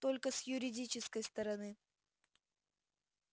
только с юридической стороны